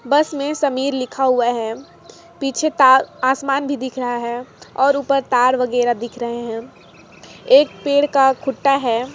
बस मे समीर लिखा हुआ हैपीछे ता आसमान भी दिख रहा हैऔर उपर तार वगेरा दिख रहे हैएक पेड़ का खुट्टा है।